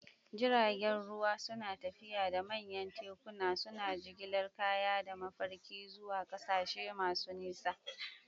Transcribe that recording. Jiragen ruwa suna tafiya da manyan tekuna, suna jigilar kaya da mafarki zuwa ƙasashe masu nisa.